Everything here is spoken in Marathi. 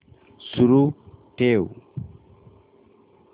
सुरू ठेव